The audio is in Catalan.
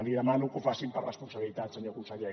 li demano que ho facin per responsabilitat senyor conseller